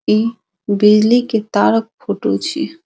इ बिजली के तार क फोटो छिये।